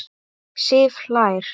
Sif hlær.